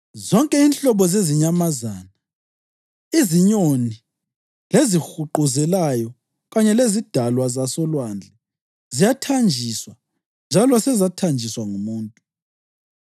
Zonke inhlobo zezinyamazana, izinyoni, lezihuquzelayo kanye lezidalwa zasolwandle ziyathanjiswa njalo sezathanjiswa ngumuntu,